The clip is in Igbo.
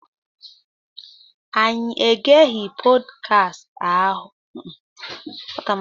Anyị egeghị pọdkast ahụ.